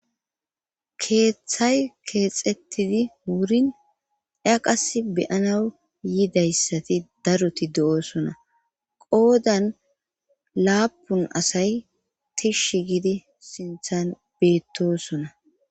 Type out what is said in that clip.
keeththay keexettidi wurin eaqas beyana yidayssati daruti do7oosona qoodan laapun asay tish gidi sinthan beettosona